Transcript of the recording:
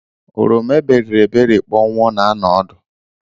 Oroma eberiri eberi kpọnwụọ na_anọ ọdụ.